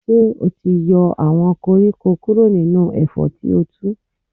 Ṣé o ti yọ àwọn koríko kúrò nínú ẹ̀fọ́ tí o tu.